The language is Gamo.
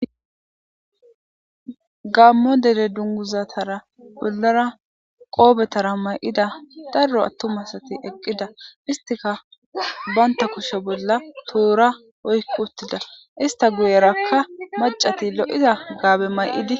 Gamo dere dunguzatara wozara qobetara may'ida daro atuma asati eqida. Estika banta kushe bolla toora oyqutida. Ista guyeraka macati lo'iza haabe may'idi.